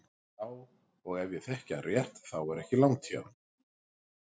Já og ef ég þekki hann rétt þá er ekki langt í hann.